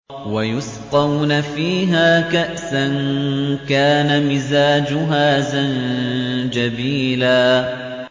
وَيُسْقَوْنَ فِيهَا كَأْسًا كَانَ مِزَاجُهَا زَنجَبِيلًا